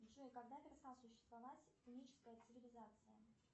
джой когда перестала существовать уническая цивилизация